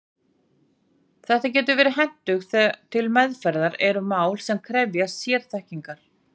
Þetta getur verið hentugt þegar til meðferðar eru mál sem krefjast sérþekkingar.